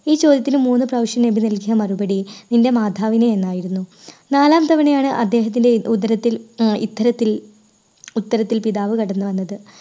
ഈ ചോദ്യത്തിന് മൂന്ന് പ്രാവശ്യം നബി നൽകിയ മറുപടി നിൻറെ മാതാവിനെ എന്നായിരുന്നു. നാലാം തവണയാണ് അദ്ദേഹത്തിൻറെ ഉ~ഉദരത്തിൽ ആ ഇത്തരത്തിൽ ഉത്തരത്തിൽ പിതാവ് കടന്ന് വന്നത്.